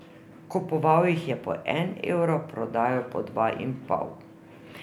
Kupoval jih je po en evro, prodajal po dva in pol.